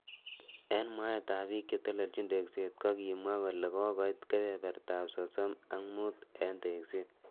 Eng mwaet ab bik chetelejin tekset kokimwa kole kokoit kebeberta ab sosom ak mut eng tekset.